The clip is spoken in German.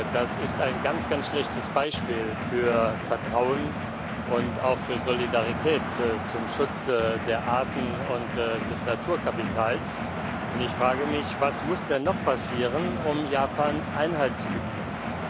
Das ist ein ganz, ganz schlechtes Beispiel für Vertrauen und auch für Solidarität zum Schutz der Arten und des Naturkapitals, und ich frage mich, was denn noch passieren muss, um Japan Einhalt zu gebieten.